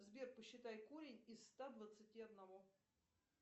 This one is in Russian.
сбер посчитай корень из ста двадцати одного